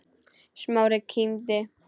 Smári kímdi.